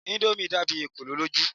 Indomie dàbí ekolo lójú.